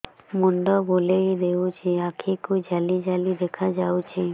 ମୁଣ୍ଡ ବୁଲେଇ ଦେଉଛି ଆଖି କୁ ଜାଲି ଜାଲି ଦେଖା ଯାଉଛି